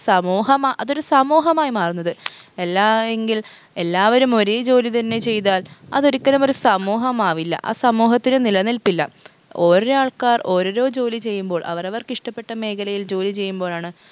സമൂഹം അതൊരു സമൂഹമായി മാറുന്നത് എല്ലായെങ്കിൽ എല്ലാവരും ഒരേ ജോലി തന്നെ ചെയ്താൽ അതൊരിക്കലും ഒരു സമൂഹമാവില്ല ആ സമൂഹത്തിൽ നിലനിൽപ്പില്ല ഓരോരാൾക്കാർ ഓരോരോ ജോലി ചെയ്യുമ്പോൾ അവരവർക്കിഷ്ട്ടപ്പെട്ട മേഖലയിൽ ജോലി ചെയ്യുമ്പോഴാണ്